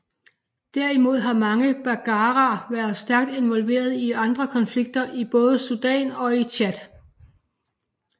Derimod har mange baggara været stærkt involveret i andre konflikter i både Sudan og i Tchad